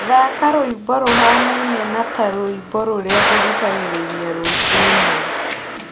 thaaka rwĩmbo rũhanaine na ta rwĩmbo rũrĩa ngũthikagĩrĩria rũcinĩ